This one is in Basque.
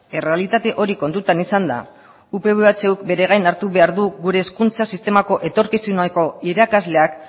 errealitate hori kontuan izanda upv ehuk bere gain hartu behar du gure hezkuntza sistemako etorkizuneko irakasleak